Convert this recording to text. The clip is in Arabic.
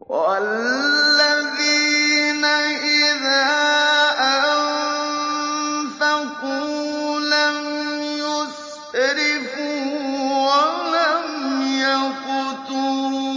وَالَّذِينَ إِذَا أَنفَقُوا لَمْ يُسْرِفُوا وَلَمْ يَقْتُرُوا